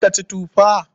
Za ka ci tufa?